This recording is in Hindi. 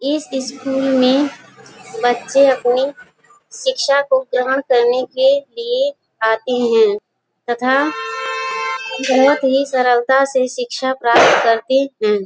इस स्कूल में बच्चे अपनी शिक्षा को ग्रहण करने के लिए आते हैं तथा बहुत ही सरलता से शिक्षा प्राप्त करते हैं।